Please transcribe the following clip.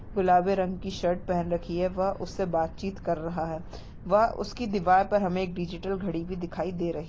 गुलाबी रंग की शर्ट पहन रखी है वह उससे बातचीत कर रहा है वह उसकी दीवार पर हमे एक डिजिटल घड़ी भी दिखाई दे रही--